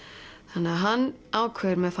þannig hann ákveður með